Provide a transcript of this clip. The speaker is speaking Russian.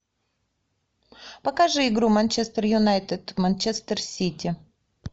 покажи игру манчестер юнайтед манчестер сити